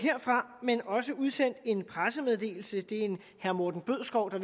men også udsendt en pressemeddelelse det er en herre morten bødskov